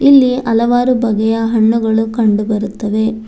ಇಲ್ಲಿ ಹಲವಾರು ಬಗೆಯ ಹಣ್ಣುಗಳು ಕಂಡುಬರುತ್ತವೆ.